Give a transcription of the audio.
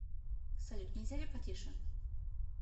салют нельзя ли потише